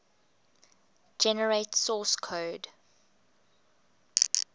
generate source code